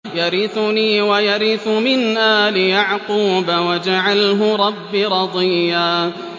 يَرِثُنِي وَيَرِثُ مِنْ آلِ يَعْقُوبَ ۖ وَاجْعَلْهُ رَبِّ رَضِيًّا